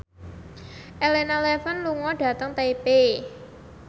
Elena Levon lunga dhateng Taipei